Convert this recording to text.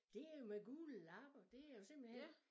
Det jo med gule lapper det jo simpelthen